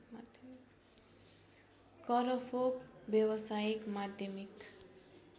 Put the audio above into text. करफोक व्यावसायिक माध्यमिक